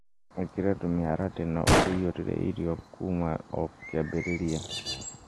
Ikĩra tũmĩharatĩ na ũtũiyũrie irio kuma o kĩambĩrĩria.